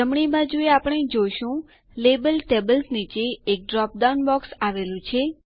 જમણી બાજુએ આપણે જોશું લેબલ ટેબલ્સ નીચે એક ડ્રોપ ડાઉન બોક્સ આવેલું છે